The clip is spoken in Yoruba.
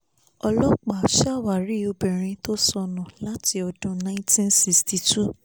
ọlọ́pàá ṣàwárí obìnrin tó sọnù láti ọdún nineteen sixty two